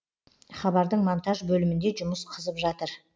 хабардың монтаж бөлімінде жұмыс қызып жатыр